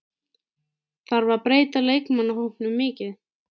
Þarf að breyta leikmannahópnum mikið?